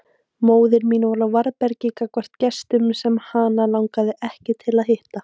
Móðir mín var á varðbergi gagnvart gestum sem hana langaði ekki til að hitta.